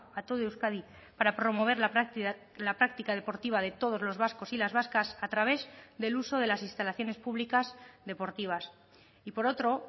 a todo euskadi para promover la práctica deportiva de todos los vascos y las vascas a través del uso de las instalaciones públicas deportivas y por otro